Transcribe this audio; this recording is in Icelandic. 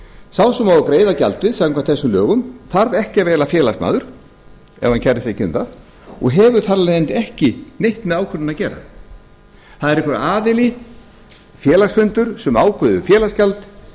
sá sem á að greiða gjaldið samkvæmt þessum lögum þarf ekki að vera félagsmaður ef hann kærir sig ekki um það og hefur þar af leiðandi ekki neitt með ákvörðunina að gera það er einhver aðili félagsfundir sem ákveður félagsgjald